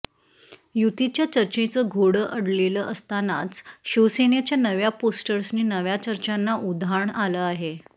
युतीच्या चर्चेचं घोडं अडलेलं असतनाच शिवसेनेच्या नव्या पोस्टर्सनी नव्या चर्चांना उधाण आलं आहे